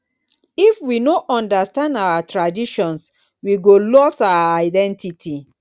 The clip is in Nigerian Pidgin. if we no understand our traditions we go lose our identity.